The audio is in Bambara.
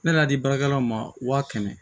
Ne n'a di baarakɛlaw ma wa kɛmɛ